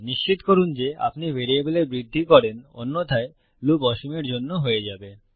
নিশ্চিত করুন যে আপনি ভ্যারিয়েবলের বৃদ্ধি করেন অন্যথায় লুপ অসীমের জন্য হয়ে যাবে